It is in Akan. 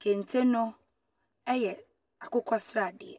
Kente no yɛ akokɔsradeɛ.